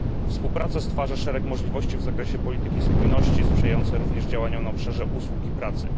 Współpraca stwarza szereg możliwości w zakresie polityki spójności sprzyjającej również działaniom na obszarze usług i pracy.